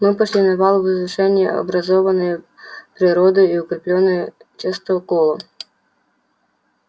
мы пошли на вал возвышение образованное природой и укреплённое частоколом